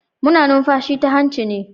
Muna numfashi ta hanci ne.